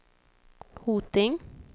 Hoting